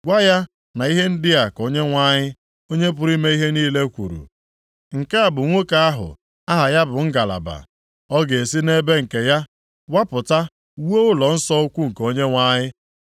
Gwa ya na ihe ndị a ka Onyenwe anyị, Onye pụrụ ime ihe niile kwuru, ‘Nke a bụ nwoke ahụ aha ya bụ Ngalaba. Ọ ga-esi nʼebe nke ya wapụta wuo ụlọnsọ ukwu nke Onyenwe anyị.